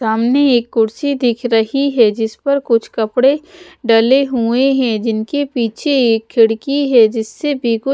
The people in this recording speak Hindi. सामने एक कुर्सी दीख रही है जिस पर कुछ कपड़े डले हुए हैं जिनके पीछे एक खिड़की है जीस्से भी--